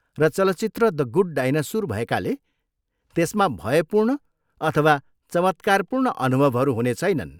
र चलचित्र the good dinosaur भएकाले, त्यसमा भयपूर्ण अथवा चमत्कारपूर्ण अनुभवहरू हुने छैनन्।